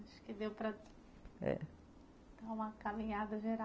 Acho que deu para. É. Dar uma caminhada geral